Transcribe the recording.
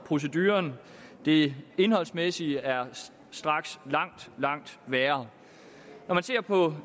proceduren det indholdsmæssige er straks langt langt værre når man ser på